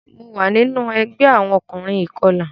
Mo wa ninu ẹgbẹ awọn ọkunrin ikọla.